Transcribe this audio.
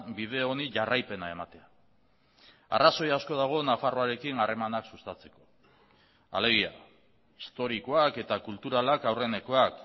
bide honi jarraipena ematea arrazoi asko dago nafarroarekin harremanak sustatzeko alegia historikoak eta kulturalak aurrenekoak